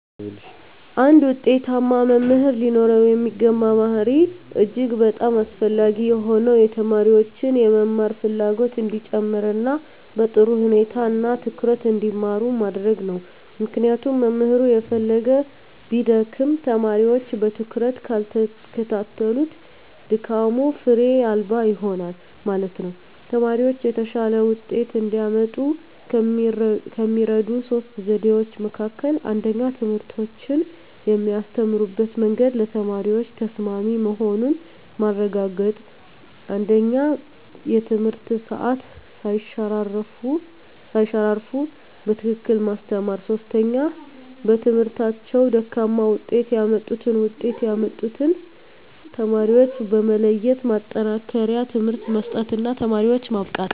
አንድ ውጤታማ መምህር ሊኖረው የሚገባ ባሀሪ እጅግ በጣም አስፈላጊ የሆነው የተማሪዎችን የመማር ፍላጎት እንዲጨመር እና በጥሩ ሁኔታ እና ትኩረት እንዲማሩ ማድረግ ነው ምክንያቱም መምህሩ የፈለገ ቢደክም ተማሪወች በትኩረት ካልተከታተሉት ድካሙ ፋሬ አልባ ይሆናል ማለት ነው። ተማሪወች የተሻለ ወጤት እንዲያመጡ ከሚረዱ 3 ዘዴዎች መካከል 1ኛ ትምህርቶችን የሚያስተምሩበት መንግድ ለተማሪዎች ተሰማሚ መሆኑን ማረጋገጥ 1ኛ የትምህርት ሰአት ሳይሸራረፉ በትክክል ማስተማር 3ኛ በትምህርታቸው ደካማ ውጤት ያመጡትን ውጤት ያመጡትን ተማሪዎች በመለየት የማጠናከሪያ ትምህርት መስጠት እና ተማሪዎችን ማብቃት።